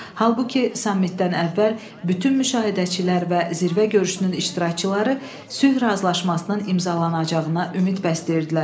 Halbuki sammitdən əvvəl bütün müşahidəçilər və zirvə görüşünün iştirakçıları sülh razılaşmasının imzalanacağına ümid bəsləyirdilər.